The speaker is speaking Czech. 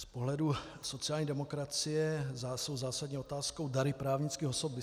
Z pohledu sociální demokracie jsou zásadní otázkou dary právnických osob.